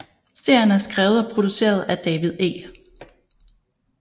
Serien er skrevet og produceret af David E